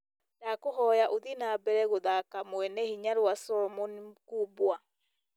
ndakũhoya ũthiĩ na mbere gũthaka mwene hinya rwa Solomon mkubwa